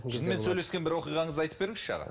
жынмен сөйлескен бір оқиғаңызды айтып беріңізші аға